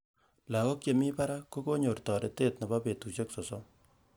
Lagok chemi barak ko konyor torete nebo betusiek sosom